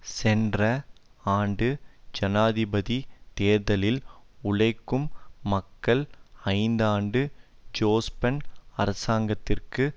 சென்ற ஆண்டு ஜனாதிபதி தேர்தலில் உழைக்கும் மக்கள் ஐந்தாண்டு ஜோஸ்பன் அராசங்கத்திற்கு